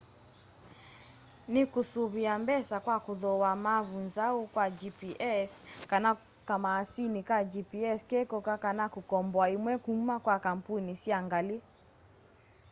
nikusuvia mbesa kwa kuthooa mavu nzau kwi gps kana kamaasini ka gps kekoka kana kukomboa imwe kuma kwa kampuni sya ngali